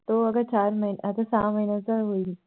तो अग चार महिने, आता सहा महिन्याचा होईल